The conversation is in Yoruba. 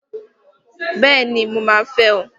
Bẹ́ẹ̀ni! Mo máa fẹ́ ọ!